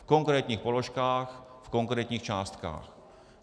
V konkrétních položkách, v konkrétních částkách.